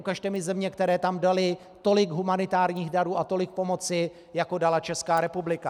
Ukažte mi země, které tam daly tolik humanitárních darů a tolik pomoci, jako dala Česká republika.